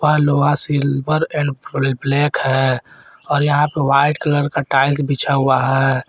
पर लोहा silver and full black है और यहां पे वाइट कलर का टाइल्स बिछा हुआ है।